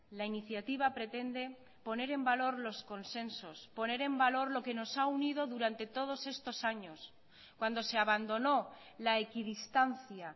la iniciativa pretende poner en valor los consensos poner en valor lo que nos ha unido durante todos estos años cuando se abandonó la equidistancia